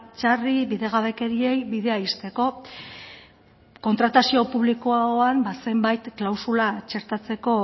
txarrei bidegabekeriei bidea ixteko kontratazio publikoan ba zenbait klausula txertatzeko